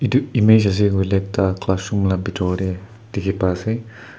image ase koile ekta classroom la bitor de dikhi pai ase.